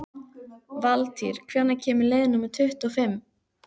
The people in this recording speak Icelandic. Valtýr, hvenær kemur leið númer tuttugu og fimm?